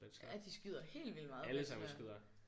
Ja de skyder helt vildt meget bachelor